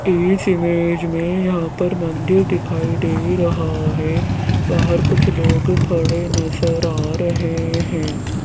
इस इमेज में यहां पर मंदिर दिखाई दे रहा है बाहर कुछ लोग खड़े नजर आ रहे हैं।